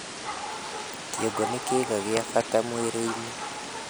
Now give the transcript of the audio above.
Kĩongo nĩ kĩĩga gĩa bata mwĩrĩ-inĩ